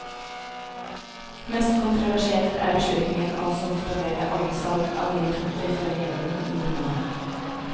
Mest kontroversielt er beslutningen om å suspendere alt salg av nye tomter fra regjeringen i ni måneder.